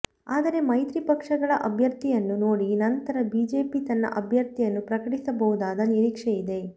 ಆದರೆ ಮೈತ್ರಿ ಪಕ್ಷಗಳ ಅಭ್ಯರ್ಥಿಯನ್ನು ನೋಡಿ ನಂತರ ಬಿಜೆಪಿ ತನ್ನ ಅಭ್ಯರ್ಥಿಯನ್ನು ಪ್ರಕಟಿಸಬಹುದಾದ ನಿರೀಕ್ಷೆ ಇದೆ